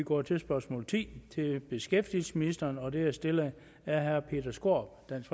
går til spørgsmål ti som til beskæftigelsesministeren og det er stillet af herre peter skaarup dansk